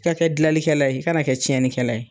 I ka kɛ gilanlikɛlɛ ye , i ka na kɛ tiɲɛnikɛlɛ ye.